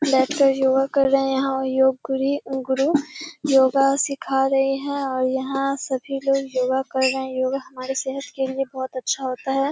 बैठके योगा कर रहे हैं यहाँ और योग गुरी गुरु योगा सीखा रही हैं और यहाँ सभी लोग योगा कर रहे हैं। योगा हमारे सेहत के लिया बहोत अच्छा होता है।